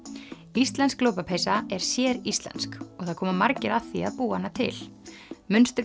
íslensk lopapeysa er séríslensk og það koma margir að því að búa hana til munstur